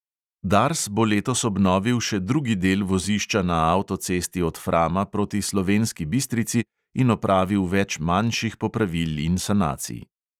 Dars bo letos obnovil še drugi del vozišča na avtocesti od frama proti slovenski bistrici in opravil več manjših popravil in sanacij.